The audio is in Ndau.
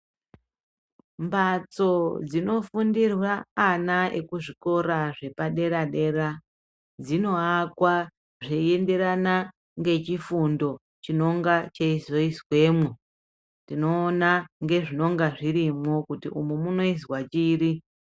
Mbatso dzinofundirwa ana ekuzvikora zvepadera -dera dzinoakwa zveienderana ngechifundo chinonga cheizoizwemo tinoona ngezvinenge zvirimwo kuti umu monoizwa chiri.